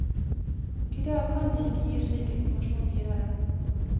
I dag kan de ikke gi slik informasjon videre.